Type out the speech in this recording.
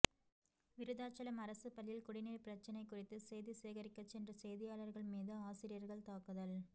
விருதாச்சலம் அரசு பள்ளியில் குடிநீர் பிரச்சனை குறித்து செய்தி சேகரிக்க சென்ற செய்தியாளர்கள் மீது ஆசிரியர்கள் தாக்குதல்